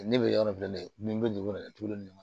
Ne bɛ yɔrɔ filɛ dɛ min bɛ dugu la dɛ tulu nin